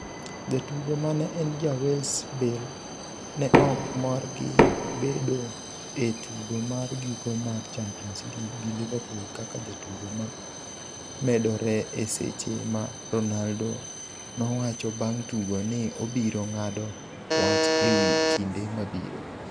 Jatugo mane en ja Wales, Bale ne ok mor gi bedo e tugo mar giko mar Champions League gi Liverpool kaka jatugo ma medore e seche ma Ronaldo nowacho bang' tugo ni obiro ng'ado wach ewi kinde mabiro.